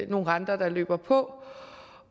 nogle renter der løber på